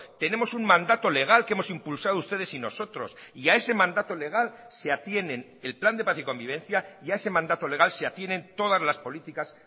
tenemos un mandato legal que hemos impulsado ustedes y nosotros y a ese mandato legal se atienen el plan de paz y convivencia y a ese mandato legal se atienen todas las políticas